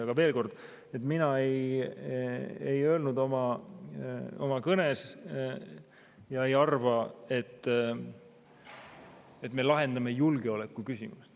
Aga veel kord, mina ei öelnud oma kõnes, et me lahendame julgeolekuküsimust.